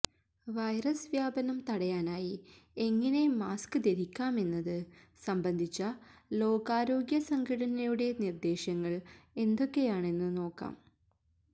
virus വ്യാപനം തടയാനായി എങ്ങനെ മാസ്ക് ധരിക്കാമെന്നത് സംബന്ധിച്ച ലോകാരോഗ്യ സംഘടനയുടെ നിര്ദ്ദേശങ്ങള് എന്തൊക്കെയാണെന്ന് നോക്കാം